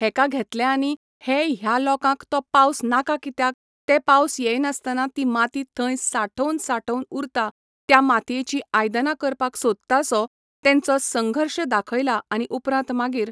हेका घेतले आनी हे ह्या लोकांक तो पावस नाका कित्याक ते पावस येयनासतना ती माती थंय साठोवन साठोवन उरतां त्या मातयेचीं आयदनां करपाक सोदता सो तेंचो संघर्श दाखयला आनी उपरांत मागीर